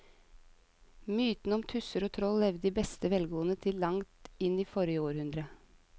Mytene om tusser og troll levde i beste velgående til langt inn i forrige århundre.